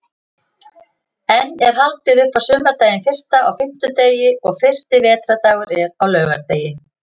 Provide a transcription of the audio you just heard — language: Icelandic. Enn er haldið upp á sumardaginn fyrsta á fimmtudegi og fyrsti vetrardagur er á laugardegi.